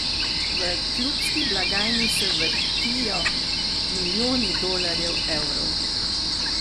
V klubski blagajni se vrtijo milijoni dolarjev, evrov.